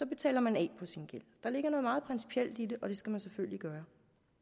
betaler man af på sin gæld der ligger noget meget principielt i det og det skal man selvfølgelig gøre